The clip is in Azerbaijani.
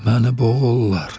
Məni boğurlar.